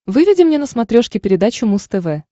выведи мне на смотрешке передачу муз тв